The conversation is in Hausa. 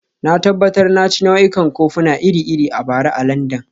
Na tabbatar na ci nau'ikan kofuna iri-iri a bara a Landan